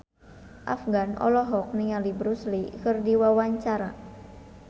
Afgan olohok ningali Bruce Lee keur diwawancara